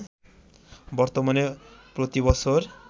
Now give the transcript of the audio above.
বর্তমানে প্রতি বছর